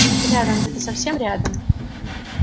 рядом где-то совсем рядом